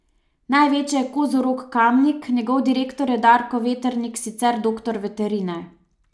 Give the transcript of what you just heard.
Največje je Kozorog Kamnik, njegov direktor je Darko Veternik, sicer doktor veterine.